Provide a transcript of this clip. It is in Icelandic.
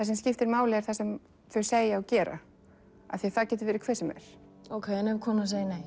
sem skiptir máli er það sem þau segja og gera af því það getur verið hver sem er en ef konan segir nei